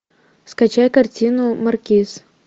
скачай картину маркиз